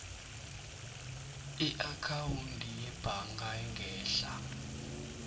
iakhawundi yebhaga engehla